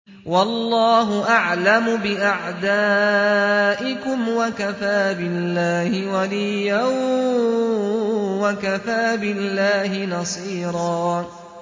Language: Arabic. وَاللَّهُ أَعْلَمُ بِأَعْدَائِكُمْ ۚ وَكَفَىٰ بِاللَّهِ وَلِيًّا وَكَفَىٰ بِاللَّهِ نَصِيرًا